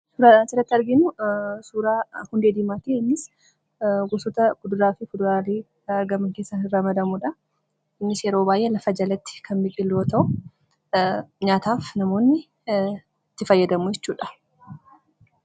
Suuraan asirratti arginu suura hundee diimaati. Innis gosaawwan kuduraalee fi fulduraalee keessatti ramadamudha. Yeroo baay'ee lafa jalatti kan biqilu yoo ta'u nyaataaf namoonni itti fayyadamu jechuudha.